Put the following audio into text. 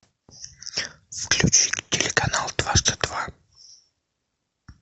включи телеканал дважды два